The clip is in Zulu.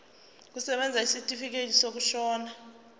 kusebenza isitifikedi sokushona